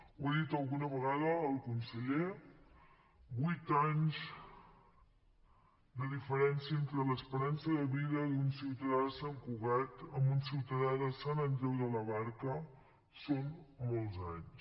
ho he dit alguna vegada al conseller vuit anys de diferència entre l’esperança de vida d’un ciutadà de sant cugat i un ciutadà de sant andreu de la barca són molts anys